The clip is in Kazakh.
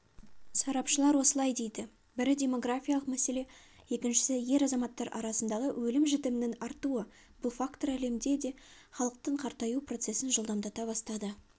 сарапшылар осылай дейді бірі демографиялық мәселе екіншісі ер азаматтар арасындағы өлім-жітімнің артуы бұл фактор әлемде де халықтың қартаю процесін жылдамдата бастады